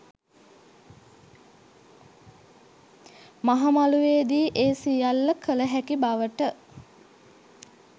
මහ මළුවේ දී ඒ සියල්ල කළ හැකි බවට